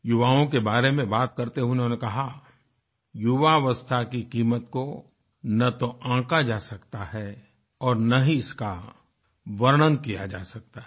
युवाओं के बारे में बात करते हुए उन्होंने कहा युवावस्था की कीमत को ना तो आँका जा सकता है और ना ही इसका वर्णन किया जा सकता है